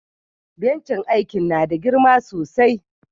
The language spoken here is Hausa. Bencin aikin na da girma sosai.